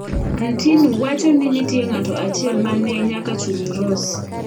Ntinu wacho ni nitie ng'ato achiel mane nyaka chul - Ross.